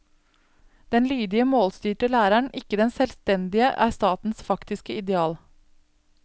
Den lydige målstyrte lærer, ikke den selvstendige, er statens faktiske ideal.